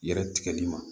Yɛrɛ tigɛli ma